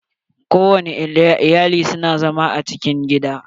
Ko wani iyali su na zama a cikin gida.